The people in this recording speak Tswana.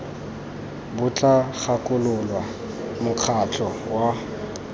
bo tla gakolola mokgatlho wa